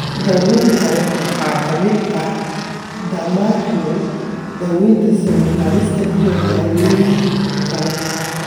Daawaynta kale waxaa ka mid ahaa dermabrasion, daawaynta sawir-qaadista, iyo dawooyin kale.